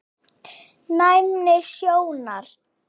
Næmni sjónar